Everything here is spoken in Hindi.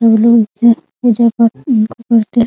फूलो से पूजा पाठ उपयोग करते हैं ।